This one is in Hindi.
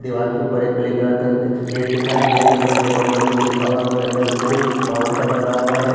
दिवार के ऊपर एक ब्लैक कलर का गे गेट लिखा हैं। गेट के ऊपर गेट नंबर टू लिखा हुआ हैं। उसके अंदर कुछ भवन सा बना हुआ है।